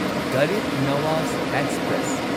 Garib Nawaz express